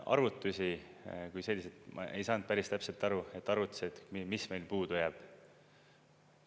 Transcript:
Arvutusi kui selliseid – ma ei saanud päris täpselt aru, mis arvutused meil puudu jäävad.